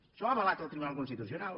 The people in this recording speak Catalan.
això ho ha avalat el tribunal constitucional